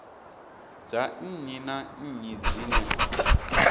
dza nnyi na nnyi dzine